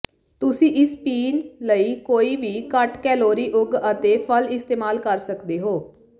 ਤੁਸੀਂ ਇਸ ਪੀਣ ਲਈ ਕੋਈ ਵੀ ਘੱਟ ਕੈਲੋਰੀ ਉਗ ਅਤੇ ਫਲ ਇਸਤੇਮਾਲ ਕਰ ਸਕਦੇ ਹੋ